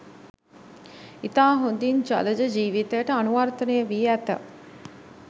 ඉතා හොඳින් ජලජ ජීවිතයට අනුවර්තනය වී ඇත